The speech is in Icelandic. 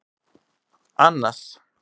Annas